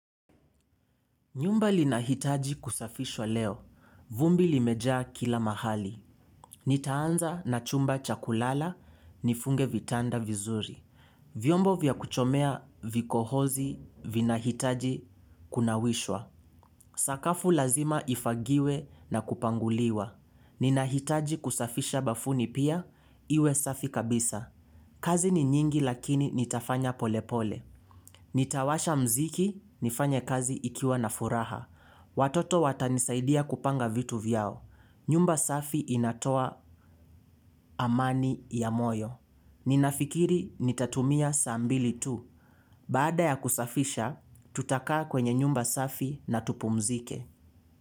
Nyumba linahitaji kusafishwa leo. Vumbi limejaa kila mahali. Nitaanza na chumba chakulala nifunge vitanda vizuri. Vyombo vya kuchomea vikohozi vinahitaji kunawishwa. Sakafu lazima ifagiwe na kupanguliwa. Ninahitaji kusafisha bafuni pia iwe safi kabisa. Kazi ni nyingi lakini nitafanya polepole. Nitawasha mziki nifanye kazi ikiwa na furaha. Watoto watanisaidia kupanga vitu vyao. Nyumba safi inatoa amani ya moyo. Ninafikiri nitatumia saa mbili tu. Baada ya kusafisha, tutakaa kwenye nyumba safi na tupumzike.